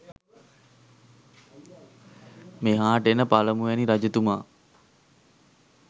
මෙහාට එන පළමුවැනි රජතුමා